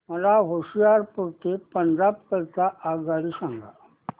मला होशियारपुर ते पंजाब करीता आगगाडी सांगा